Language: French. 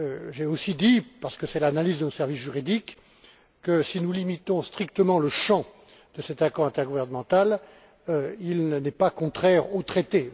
J'ai aussi dit, parce que c'est l'analyse de nos services juridiques, que si nous limitons strictement le champ de cet accord intergouvernemental, il n'est pas contraire aux traités.